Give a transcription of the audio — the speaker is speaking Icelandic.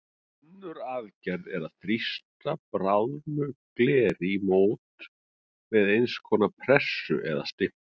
Önnur aðferð er að þrýsta bráðnu gleri í mót með eins konar pressu eða stimpli.